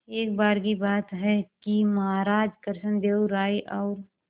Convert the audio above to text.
एक बार की बात है कि महाराज कृष्णदेव राय और